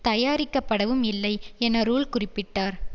தயாரிக்கப்படவும் இல்லை என ரூல் குறிப்பிட்டார்